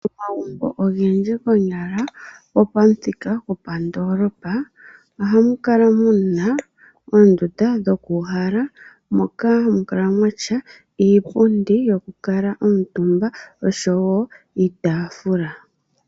Momagumbo ogendji konyala gopamuthika gwondoolopa, ohamu kala muna oondunda dhokuuhala moka hamu kala muna iipundi yoku kala omuntumba oshowo iitafula.